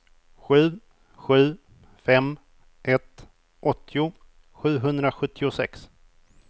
sju sju fem ett åttio sjuhundrasjuttiosex